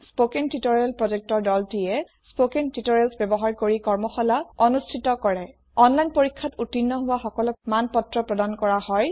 spoken tutorial project দলটিএ160 spoken tutorial ব্যৱহাৰ কৰি কৰ্মশালা পাতে অনলাইন টেস্ট উত্তীৰ্ণ সকলক মানপত্ৰ প্ৰদান কৰা হয়